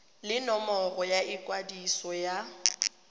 le nomoro ya ikwadiso ya